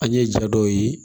An ye ja dɔw ye